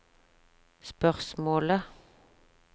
spørsmålet